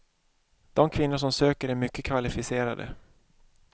De kvinnor som söker är mycket kvalificerade.